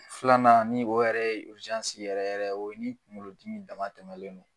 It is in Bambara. Filanan ni o yɛrɛ e yɛrɛ yɛrɛ o ye ni kungolodimi dama tɛmɛlen don.